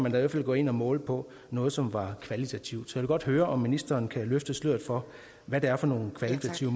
i hvert fald gå ind og måle på noget som var kvalitativt så jeg vil godt høre om ministeren kan løfte sløret for hvad det er for nogle kvalitative